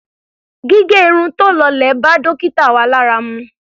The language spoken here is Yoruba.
Gígẹ irun tí ó lọlẹ̀ bá dókítà wa lára mu.